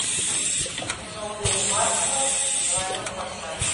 кино гэрри маршалла двойной форсаж